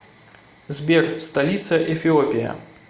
сбер столица эфиопия